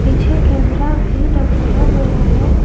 पीछे कैमरा भी लगाया गया है।